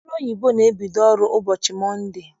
Ndị ọrụ oyibo na-ebido ọrụ ụbọchị mọnde.